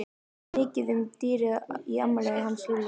Það var mikið um dýrðir í afmælinu hjá Lúlla.